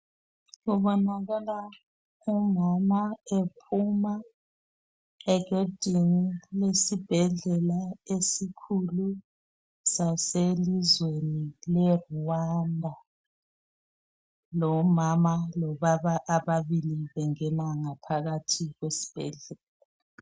Kubonakala umama ephuma egedini lesibhedlela esikhulu saselizweni leRwanda. Lomama lobaba ababili bengena ngaphakathi kwesibhedlela.